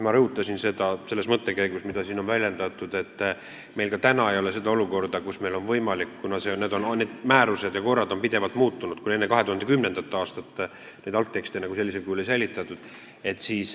Ma rõhutasin selles mõttekäigus, mida ka siin on väljendatud, et meil ka täna ei ole olukorda, kus meil on võimalik nende alusel kehtivat õigust taastada, kuna need määrused ja korrad on pidevalt muutunud ja enne 2010. aastat algtekste sellisel kujul ei säilitatud.